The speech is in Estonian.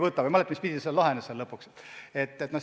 Ma ei mäleta, mis pidi see seal lõpuks lahenes.